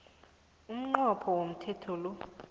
umnqopho womthetho lo